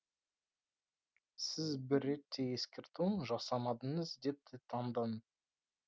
сіз бір рет те ескерту жасамадыңыз депті